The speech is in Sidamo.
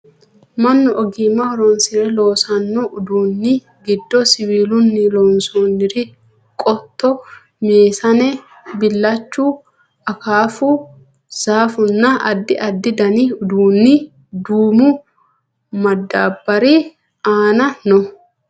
mannu ogimma horonsire loosanno uduunni giddo siwiilunni loonsoonniri qotto, meesane, billachu, akaafu, zaaffunna addi addi dani uduunni duumu madaabbari aana no